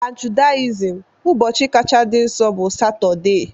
Na Judaism, ụbọchị kacha dị nsọ bụ Satọdee.